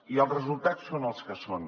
i els resultats són els que són